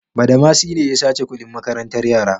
Badamasi ne ya sace kuɗin makarantar yara.